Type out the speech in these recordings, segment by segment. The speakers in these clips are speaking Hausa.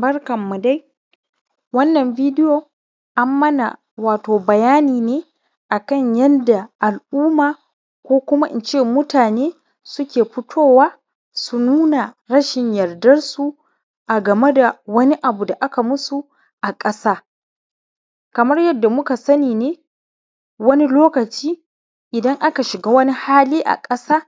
Barkanmu dai wannan bidiyo an mana wato bayani ne akan yanda al’umma ko kuma in ce mutane suke fitowa don nuna rashin yardansu a game da wani abu da aka yi musu a ƙasa kamar yadda muka sani ne wani lokaci idan aka shiga wani hali a ƙasa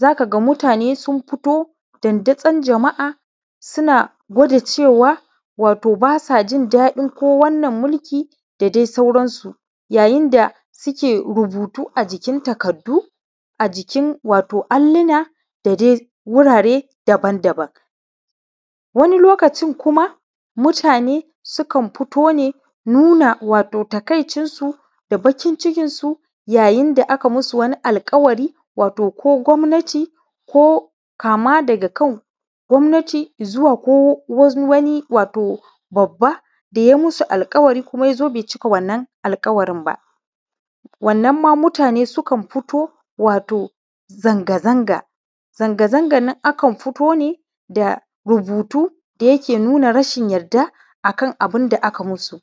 za ka ga mutane sun fito dandazon jama’a suna gwaɗa cewa wato ba sa jin daɗin wannan mulki da dai sauransu. Yayin da suke rubutu a takardu a jikin wato alluna da dai wurare daban-daban, wani lokaci kuma mutane sukan fito ne suna nuna wato taƙaicinsu da bakincikinsu. Yayin da aka yi musu wani alƙawari wato ko gwamnati ko kama daga kan gwamnati zuwa ko wani wato babba da ya yi musu alƙawari, ya zo kuma bai cika wannan alƙawari ba, wannan ma mutane sukan fito. Wato zanga-zanga. Zanga-zangan nan a kan fito ne da rubutu da yake nuna rashin yarda akan abunda aka musu,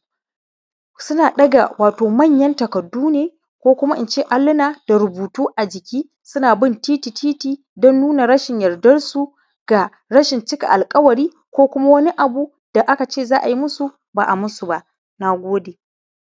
suna ɗaga wato manyan takardu ne ko kuma in ce alluna da rubutu a jiki, suna bin titi don nuna rashin yardansu ga rashin cika alƙawari ko kuma wani abu da aka ce za a yi musu ba a yi musu ba. Na gode.